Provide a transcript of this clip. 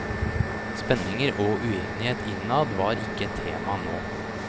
Spenninger og uenighet innad var ikke et tema nå.